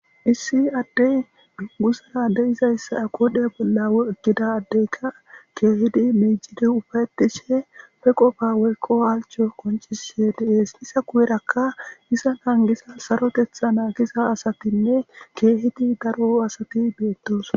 issi adde duggu sara adeyizayssa aqodhe bolla ogida addeyka keehidi miijidi ufaetishe pe qofa weyqo halcho koncise deees isa kuwerakka isa nangisa sarotetha na giza asatinne keehidi daro asati beettos